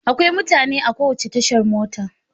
Akwai mutane a kowace tashar mota.